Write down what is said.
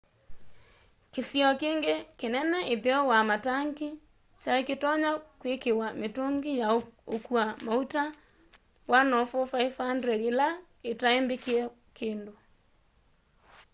kĩsio kĩngĩ kĩnene ĩtheo wa matangi kyaĩkĩtonya kwĩkĩwa mĩtũngĩ ya ũkũa maũta 104,500 ĩla itaĩ mbĩkĩe kĩndũ